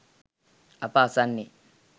අප අසන්නේ